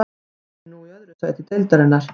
Liðið er nú í öðru sæti deildarinnar.